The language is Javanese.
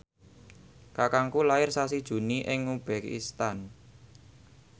kakangku lair sasi Juni ing uzbekistan